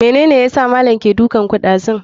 Mene yasa malam yake dukanku ɗazu?